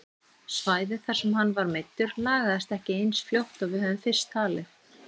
Svæðið þar sem hann var meiddur lagaðist ekki eins fljótt og við höfðum fyrst talið.